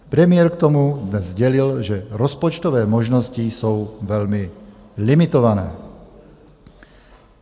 Premiér k tomu dnes sdělil, že rozpočtové možnosti jsou velmi limitované.